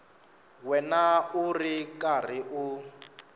wena u ri karhi u